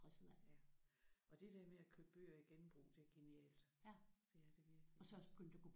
Ja og det der med at købe bøger i genbrug det er genialt. Det er det virkelig